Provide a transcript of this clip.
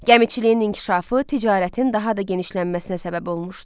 Gəmiçiliyin inkişafı ticarətin daha da genişlənməsinə səbəb olmuşdu.